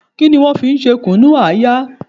Kí ni wọ́n fi ń ṣe Kùnu-aya?